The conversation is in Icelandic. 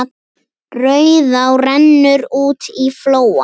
Rauðá rennur út í flóann.